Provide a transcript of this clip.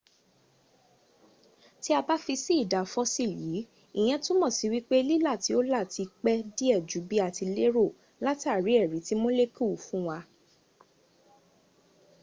tí a bá fi sí ìdá fossil yìí ìyẹ́n túnmọ̀ sí wípé lílà tí ó là ti pẹ́ díẹ̀ jú bí a ti lérò látàrí èrí tí molecule fún wa